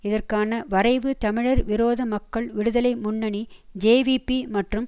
இதற்கான வரைவு தமிழர் விரோத மக்கள் விடுதலை முன்னணி ஜேவிபி மற்றும்